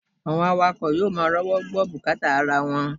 Àwọn awakọ̀ yóò máa rówó gbọ́ bùkátà ara wọn